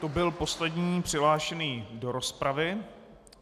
To byl poslední přihlášený do rozpravy.